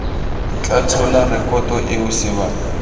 tla tshola rekoto eo sebaka